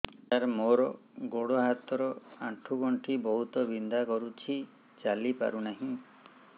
ସାର ମୋର ଗୋଡ ହାତ ର ଆଣ୍ଠୁ ଗଣ୍ଠି ବହୁତ ବିନ୍ଧା କରୁଛି ଚାଲି ପାରୁନାହିଁ